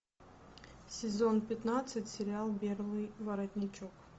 сезон пятнадцать сериал белый воротничок